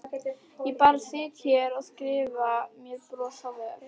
Ég bara sit hér og skrifa með bros á vör.